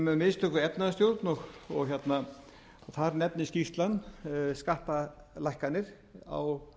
um mistök við efnahagsstjórn og þar nefnir skýrslan skattalækkanir á